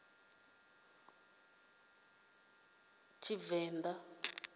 kuvenḓa